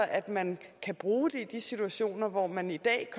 at man kan bruge det i de situationer hvor man i dag